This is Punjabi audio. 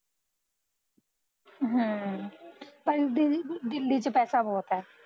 ਹਾਂ ਪਰ ਦੀਦੀ ਦਿੱਲੀ ਚ ਪੈਸਾ ਬਹੁਤ ਐ